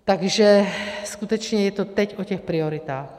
Takže skutečně je to teď o těch prioritách.